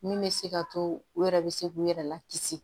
Min bɛ se ka to u yɛrɛ bɛ se k'u yɛrɛ lakisi